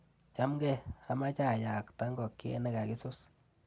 Chamgee, amache ayakta ngokchet nekakisus.